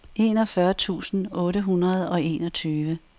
enogfyrre tusind otte hundrede og enogtyve